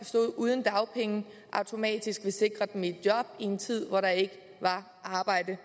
stod uden dagpenge automatisk ville sikre dem et job i en tid hvor der ikke var arbejde